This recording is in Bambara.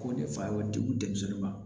Ko ne fa y'o degu denmisɛnninw ma